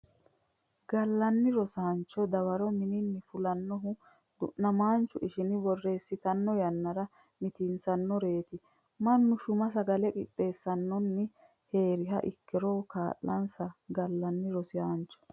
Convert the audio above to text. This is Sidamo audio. Gallanni Rosiisaancho dawaro minnanni fulannohu du namaanchu ishini borreessitanno yannara mitiinsannonsari mannu shuma sagale qixxeessinoonni hee riha ikkiro kaa linsa Gallanni Rosiisaancho.